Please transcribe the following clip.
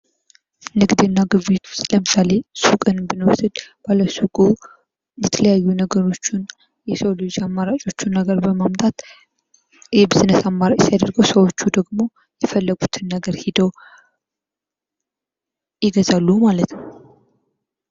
ንግድና ግብይት ውስጥ ለምሳሌ ሱቅን ብንወስድ ባለሱቁ የተለያዩ ነገሮችን የሰው ልጅ አማራጮችን ነገር በማምጣት የቢዝነስ አማራጭ ሲያደርገው ሰዎች ደግሞ የፈለጉትን ነገር ሂደው ይገዛሉ ማለት ነው።